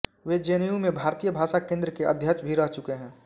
वे JNU में भारतीय भाषा केन्द्र के अध्यक्ष भी रह चुके हैं